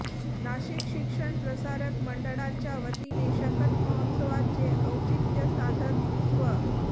नाशिक शिक्षण प्रसारक मंडळाच्यावतीने शकत महोत्सवाचे औचित्य साधत स्व